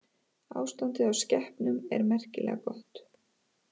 Ástandið á skepnum er merkilega gott